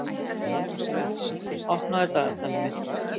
Kristófer, opnaðu dagatalið mitt.